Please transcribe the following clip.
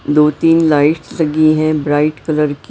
दो तीन लाइटस लगी हैं ब्राइट कलर की।